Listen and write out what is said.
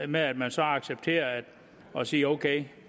med at man så accepterer og siger ok